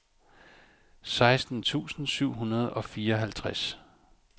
seksten tusind syv hundrede og fireoghalvtreds